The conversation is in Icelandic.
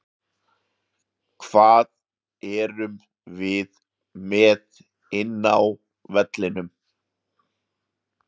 Hvað erum við með inni á vellinum?